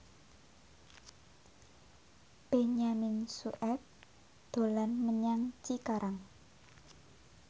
Benyamin Sueb dolan menyang Cikarang